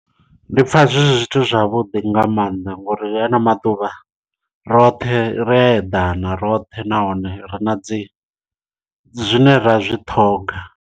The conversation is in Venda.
Ndi pfha zwi zwithu zwavhuḓi nga maanḓa ngori ri hana maḓuvha roṱhe ri a eḓana roṱhe nahone ri na dzi zwine ra zwi ṱhoga.